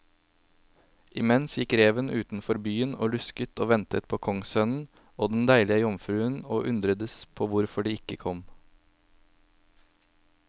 Imens gikk reven utenfor byen og lusket og ventet på kongssønnen og den deilige jomfruen, og undredes på hvorfor de ikke kom.